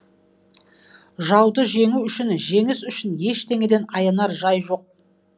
жауды жеңу үшін жеңіс үшін ештеңеден аянар жай жоқ